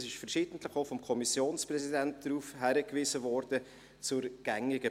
Auf die gängige Praxis wurde verschiedentlich auch vom Kommissionspräsidenten hingewiesen.